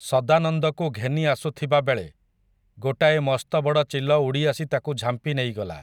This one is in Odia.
ସଦାନନ୍ଦକୁ ଘେନି ଆସୁଥିବାବେଳେ, ଗୋଟାଏ ମସ୍ତବଡ଼ ଚିଲ ଉଡ଼ିଆସି ତାକୁ ଝାମ୍ପି ନେଇଗଲା ।